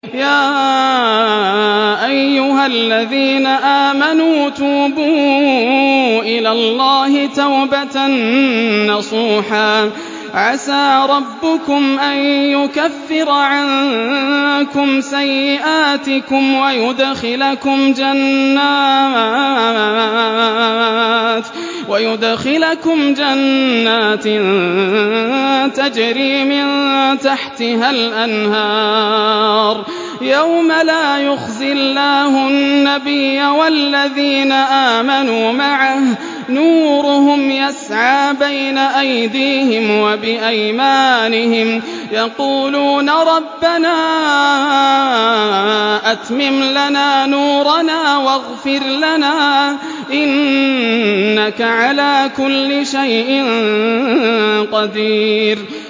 يَا أَيُّهَا الَّذِينَ آمَنُوا تُوبُوا إِلَى اللَّهِ تَوْبَةً نَّصُوحًا عَسَىٰ رَبُّكُمْ أَن يُكَفِّرَ عَنكُمْ سَيِّئَاتِكُمْ وَيُدْخِلَكُمْ جَنَّاتٍ تَجْرِي مِن تَحْتِهَا الْأَنْهَارُ يَوْمَ لَا يُخْزِي اللَّهُ النَّبِيَّ وَالَّذِينَ آمَنُوا مَعَهُ ۖ نُورُهُمْ يَسْعَىٰ بَيْنَ أَيْدِيهِمْ وَبِأَيْمَانِهِمْ يَقُولُونَ رَبَّنَا أَتْمِمْ لَنَا نُورَنَا وَاغْفِرْ لَنَا ۖ إِنَّكَ عَلَىٰ كُلِّ شَيْءٍ قَدِيرٌ